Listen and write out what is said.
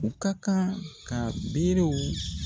U ka kan ka berew